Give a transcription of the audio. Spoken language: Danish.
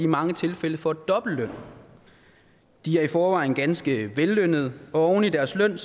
mange tilfælde får dobbelt løn de er i forvejen ganske vellønnede og oven i deres løn